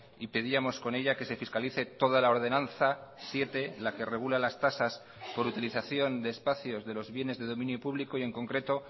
y pedíamos con ella que se fiscalice toda la ordenanza siete la que regula las tasas por utilización de espacios de los bienes de dominio público y en concreto